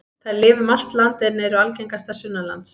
Þær lifa um allt land en eru algengastar sunnanlands.